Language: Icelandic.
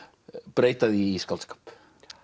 breyta því í skáldskap